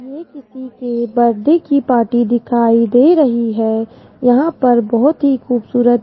ये किसी के बर्थडे की पार्टी दिखाई दे रही है यहां पर बहोत ही खूबसूरत --